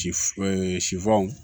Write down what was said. Si f sifaw